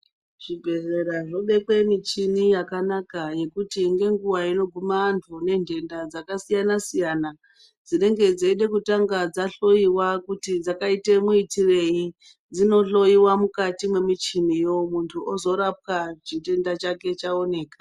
Zvibhedhlera zvobekwa michini yakanaka yekuti ngenguwa inoguma antu vane ntenda dzakasiyana-siyana dzinenge dzeida kutanga dzahloyiwa kuti dzakaita muitireyi, dzinoonekwa mukati mwemichiniyo muntu ozorapwa chitenda chake chaoneka.